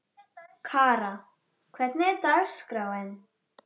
Kara, hvernig er dagskráin?